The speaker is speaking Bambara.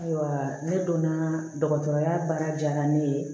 Ayiwa ne donna dɔgɔtɔrɔya baara diya ne ye